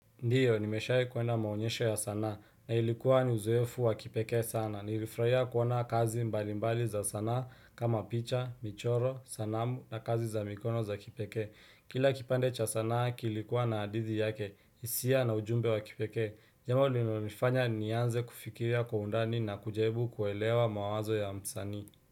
Ndiyo, nimeshae kuwenda maonyesho ya sanaa na ilikuwa ni uzoefu wa kipeke sana. Nilifurahia kuona kazi mbalimbali za sana kama picha, michoro, sanamu na kazi za mikono za kipekee. Kila kipande cha sana kilikuwa na hadithi yake, hisia na ujumbe wa kipekee. Jambo linalonifanya nianze kufikiria kwa undani na kujaribu kuwaelewa mawazo ya msanii.